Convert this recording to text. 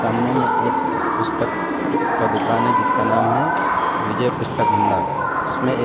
सामने में एक पुस्तक का दुकान है जिसका नाम है विजय पुस्तक भंडार उसमे ए --